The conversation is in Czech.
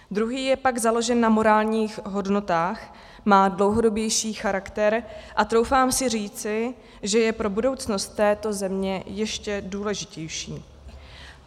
Druhý je pak založen na morálních hodnotách, má dlouhodobější charakter a troufám si říci, že je pro budoucnost této země ještě důležitější.